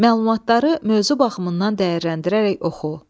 Məlumatları mövzu baxımından dəyərləndirərək oxu.